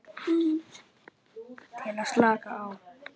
Til að slaka á.